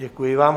Děkuji vám.